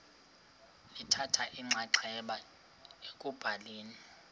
lithatha inxaxheba ekubhaleni